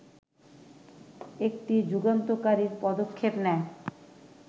একটি যুগান্তকারী পদক্ষেপ নেয়